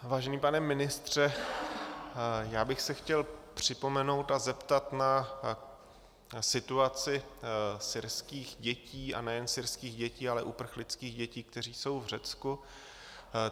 Vážený pane ministře, já bych se chtěl připomenout a zeptat na situaci syrských dětí, a nejen syrských dětí, ale uprchlických dětí, které jsou v Řecku.